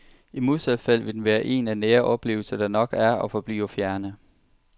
I modsat fald vil den være en af nære oplevelser, der nok er og forbliver fjerne.